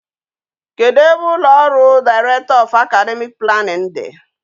Kedu ebe ulo oru director of academic planning di?